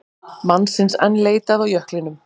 Mannsins enn leitað á jöklinum